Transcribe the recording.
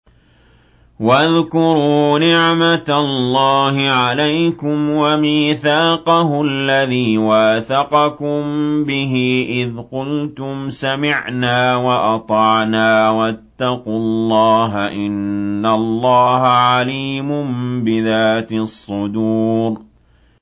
وَاذْكُرُوا نِعْمَةَ اللَّهِ عَلَيْكُمْ وَمِيثَاقَهُ الَّذِي وَاثَقَكُم بِهِ إِذْ قُلْتُمْ سَمِعْنَا وَأَطَعْنَا ۖ وَاتَّقُوا اللَّهَ ۚ إِنَّ اللَّهَ عَلِيمٌ بِذَاتِ الصُّدُورِ